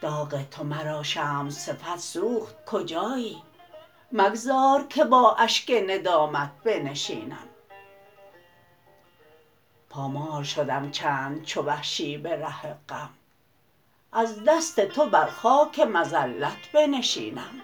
داغ تو مرا شمع صفت سوخت کجایی مگذار که با اشک ندامت بنشینم پامال شدم چند چو وحشی به ره غم از دست تو بر خاک مذلت بنشینم